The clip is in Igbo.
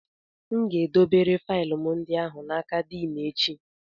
M ga-edobere faịlụ ndị ahụ n'aka Din echi